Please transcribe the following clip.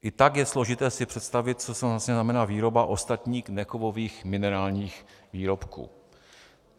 I tak je složité si představit, co to vlastně znamená výroba ostatních nekovových minerálních výrobků.